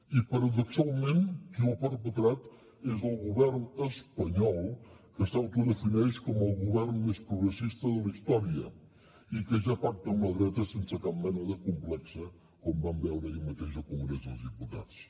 i paradoxalment qui ho ha perpetrat és el govern espanyol que s’autodefineix com el govern més progressista de la història i que ja pacta amb la dreta sense cap mena de complex com vam veure ahir mateix al congrés dels diputats